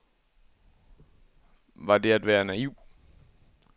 Var det at være naiv?